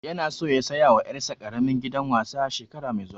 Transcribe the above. Ya na so ya saya wa ƴar sa ƙaramin gidan wasa shekara mai zuwa